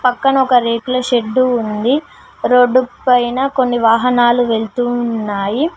పక్కన ఒక రేకుల షెడ్డు ఉంది రోడ్డుపైన కొన్ని వాహనాలు వెళుతూ ఉన్నాయి.